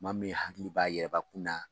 Maa min hakili b'a yɛrɛbakun na